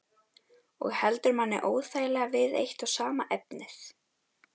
Og heldur manni óþægilega við eitt og sama efnið.